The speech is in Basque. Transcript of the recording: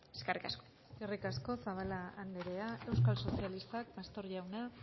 eskerrik asko eskerrik asko zabala andrea euskal sozialistak pastor jauna